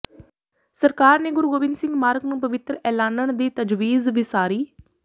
ਸਰਕਾਰ ਨੇ ਗੁਰੂ ਗੋਬਿੰਦ ਸਿੰਘ ਮਾਰਗ ਨੂੰ ਪਵਿੱਤਰ ਐਲਾਨਣ ਦੀ ਤਜਵੀਜ਼ ਵਿਸਾਰੀ